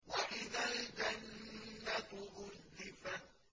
وَإِذَا الْجَنَّةُ أُزْلِفَتْ